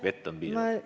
Vett on piisavalt?